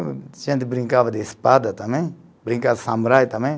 A gente brincava de espada também, brincava de samurai também.